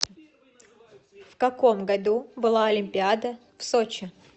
в каком году была олимпиада в сочи